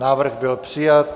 Návrh byl přijat.